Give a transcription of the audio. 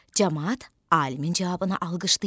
Camaat alimin cavabını alqışlayır.